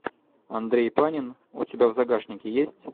андрей панин у тебя в загашнике есть